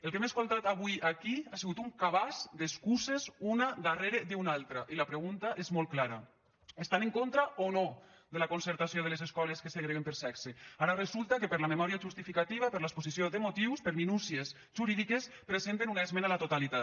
el que hem escoltat avui aquí ha sigut un cabàs d’excuses una darrere d’una altra i la pregunta és molt clara estan en contra o no de la concertació de les escoles que segreguen per sexe ara resulta que per la memòria justificativa per l’exposició de motius per minúcies jurídiques presenten una esmena a la totalitat